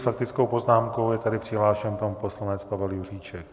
S faktickou poznámkou je tady přihlášen pan poslanec Pavel Juříček.